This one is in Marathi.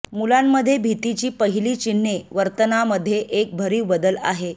मुलांमध्ये भीतीची पहिली चिन्हे वर्तनामध्ये एक भरीव बदल आहे